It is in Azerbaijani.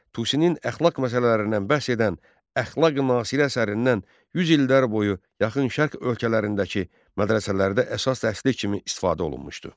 Tusinin əxlaq məsələlərindən bəhs edən “Əxlaqi-Nasiri” əsərindən 100 illər boyu Yaxın Şərq ölkələrindəki mədrəsələrdə əsas dərsilik kimi istifadə olunmuşdu.